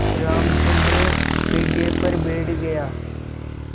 रामचंद्र पीढ़े पर बैठ गया